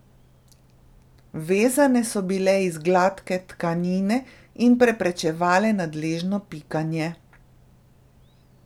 Vezene so bile iz gladke tkanine in preprečevale nadležno pikanje.